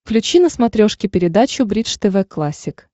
включи на смотрешке передачу бридж тв классик